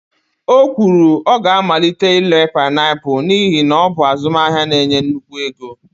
o kwuru, ọ ga-amalite ire painiapulu n'ihi na ọ bụ azụmahịa na-enye nnukwu ego